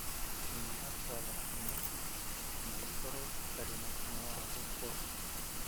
Kũnyiha kwa thakame, na ikorwo itarĩ na hinya wa gũkũra.